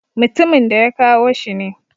Mutumin da ya kawo shi ne.